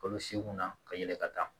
Olu segu na ka yɛlɛ ka taa